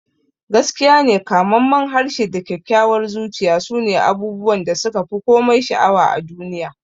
Gaskiyane, kamammen harshe da kyakkyawar zuciya sune abubuwan da suka fi komai sha'awa a duniya.